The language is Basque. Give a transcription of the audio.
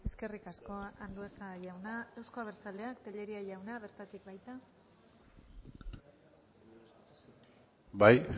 eskerrik asko andueza jauna euzko abertzaleak tellería jauna bertatik baita bai